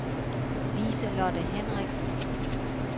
Liselotte Henriksen